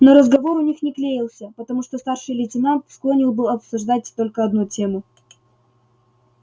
но разговор у них не клеился потому что старший лейтенант склонен был обсуждать только одну тему